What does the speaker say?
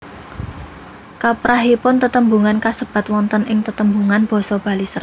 Kaprahipun tetembungan kasebat wonten ing tetembungan basa Bali serapan